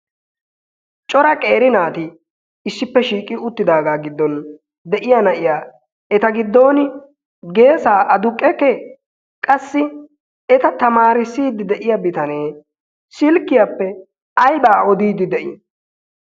cora qeeri naati issippe shiiqi uttidaagaa giddon de'iya na'iya eta giddon geesa aduqe kee qassi eta tamaarissiiddi de'iya bitanee silkkiyaappe aibaa odiiddi de'ii?